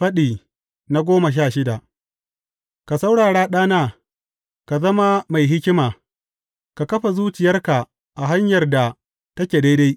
Faɗi goma sha shida Ka saurara, ɗana, ka zama mai hikima, ka kafa zuciyarka a hanyar da take daidai.